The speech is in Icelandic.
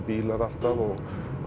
bílar alltaf og